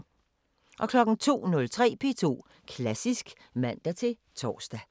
02:03: P2 Klassisk (man-tor)